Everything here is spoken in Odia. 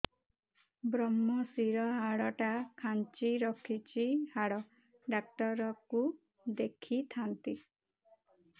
ଵ୍ରମଶିର ହାଡ଼ ଟା ଖାନ୍ଚି ରଖିଛି ହାଡ଼ ଡାକ୍ତର କୁ ଦେଖିଥାନ୍ତି